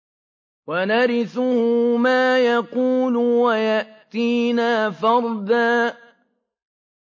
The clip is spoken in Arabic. وَنَرِثُهُ مَا يَقُولُ وَيَأْتِينَا فَرْدًا